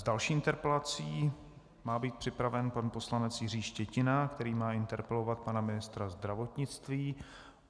S další interpelací má být připraven pan poslanec Jiří Štětina, který má interpelovat pana ministra zdravotnictví.